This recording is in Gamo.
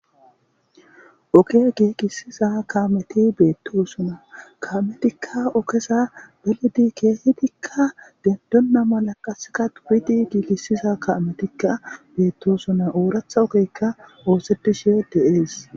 oke giigisiza kaameti beettoosuna kaametikka okesa belidi keehidikka gendonna mala qaseka uwidi giigisiza kaametikka beettosuna ooratha okeykka oosedishe de7ees